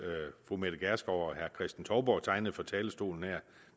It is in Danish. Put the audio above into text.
fru mette gjerskov og herre kristen touborg tegnede fra talerstolen her